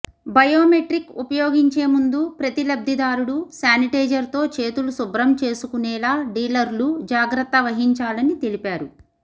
biometric ఉపయోగించే ముందు ప్రతి లబ్దిదారుడు శానిటైజర్తో చేతులు శుభ్రం చేసుకునేలా డీలర్లు జాగ్రత్త వహించాలని తెలిపారు